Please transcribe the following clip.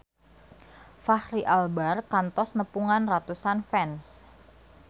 Fachri Albar kantos nepungan ratusan fans